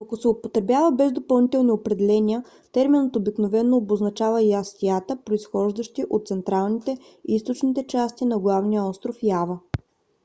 но ако се употребява без допълнителни определения терминът обикновено обозначава ястията произхождащи от централните и източните части на главния остров ява